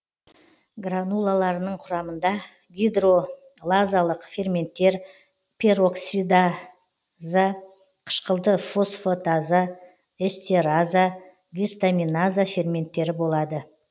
гранулаларының құрамында гидролазалық ферменттер пероксида за қышқылды фосфатаза эстераза гистаминаза ферменттері болады